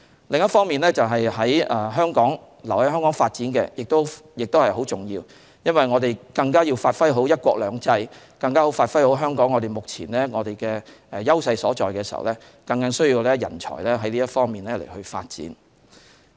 另一方面，留在香港發展亦很重要，我們更要發揮好"一國兩制"，更要發揮好香港目前的優勢所在，很需要人才在這方面發展。